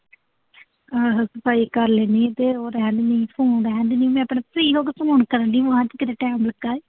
ਆਹੋ ਸਫਾਈ ਕਰ ਲੈਨੀ ਆਂ ਤੇ ਉਹ ਰਹਿਣ ਦਮੀਂ, ਫੋਨ ਰਹਿਣ ਦਮੀਂ। ਮੈਂ ਤੈਨੂੰ ਫਰੀ ਹੋ ਕੇ ਫੋਨ ਕਰ ਡਈ ਆਂ, ਬਾਅਦ ਚ ਕਿਤੇ ਟਾਈਮ ਦਿੱਤਾ।